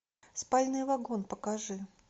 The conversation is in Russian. спальный вагон покажи